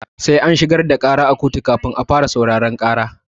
Sai an shigar da ƙara a koto kafin a fara sauraron ƙara.